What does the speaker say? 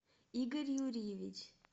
игорь юрьевич